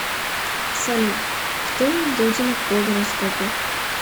салют кто дудина по гороскопу